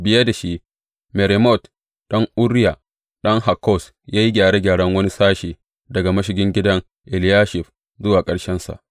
Biye da shi, Meremot ɗan Uriya, ɗan Hakkoz, ya yi gyaran wani sashe, daga mashigin gidan Eliyashib zuwa ƙarshensa.